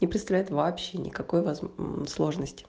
не представляет вообще никакой возм мм сложности